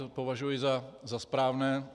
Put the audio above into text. To považuji za správné.